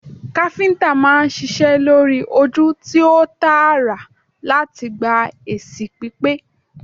Káfíntà máa ń ṣiṣẹ lori oju ti o taara lati gba esi pipe